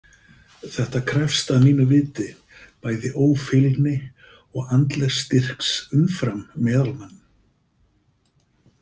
Þetta krefst að mínu viti bæði ófeilni og andlegs styrks umfram meðalmanninn.